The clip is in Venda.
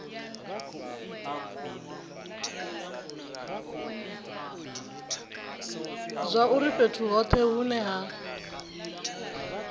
zwauri fhethu hothe hune ha